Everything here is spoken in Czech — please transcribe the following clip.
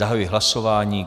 Zahajuji hlasování.